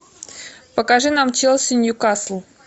покажи нам челси ньюкасл